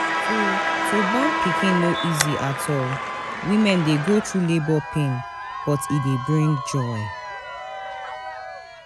To To born pikin no easy at all women dey go through labour pain but e dey bring joy